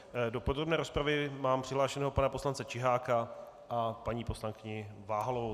Do podrobné rozpravy mám přihlášeného pana poslance Čiháka a paní poslankyni Váhalovou.